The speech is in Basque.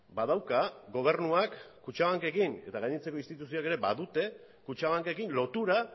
badauka gobernuak kutxabankekin eta gainontzeko instituzioek ere badute kutxabankekin lotura